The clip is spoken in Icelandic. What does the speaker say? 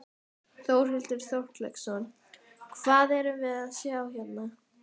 Þórhildur Þorkelsdóttir: Hvað erum við að sjá hérna?